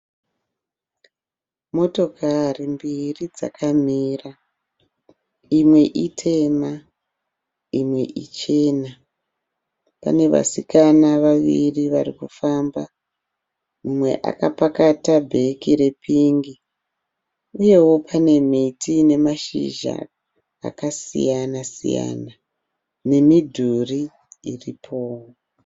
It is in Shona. Motokari mbiri dzakamira. Imwe itemma imwe ichena. Pane vasikana vaviri varikufamba umwe akapakata bheke repingi uyewo pane miti ine mashizha akasiyana siyana nemidhuri iripowo.